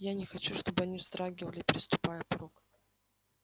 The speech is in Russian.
я не хочу чтобы они вздрагивали переступая порог